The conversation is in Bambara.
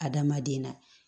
Adamaden na